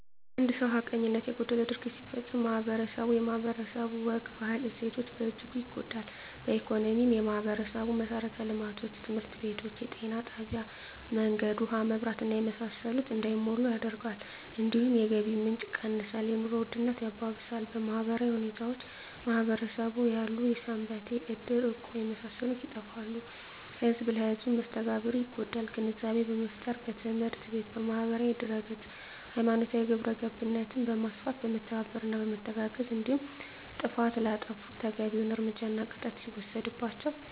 አንድ ሰው ሀቀኝነት የጎደለው ድርጊት ሲፈፀም ማህበረስቡ የማህበረሰቡ ወግ ባህል እሴቶች በእጅጉ ይጎዳል በኢኮኖሚ የማህበረሰቡን መሠረተ ልማቶች( ትምህርት ቤቶች ጤና ጣቢያ መንገድ ውሀ መብራት እና የመሳሰሉት) እንዳይሟሉ ያደርጋል እንዲሁም የገቢ ምንጭ የቀንሳል የኑሮ ውድነት ያባብሳል በማህበራዊ ሁኔታዎች በማህበረሰቡ ያሉ ሰንበቴ እድር እቁብ የመሳሰሉት ይጠፋሉ ህዝብ ለህዝም መስተጋብሩ ይጎዳል ግንዛቤ በመፍጠር በትምህርት ቤት በማህበራዊ ድህረገፅ ሀይማኖታዊ ግብረገብነት በማስፋት በመተባበርና በመተጋገዝ እንዲሁም ጥፍት ላጠፉት ተገቢዉን እርምጃና ቅጣት ሲወሰድባቸው